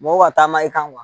Mɔgɔw ka taama i kan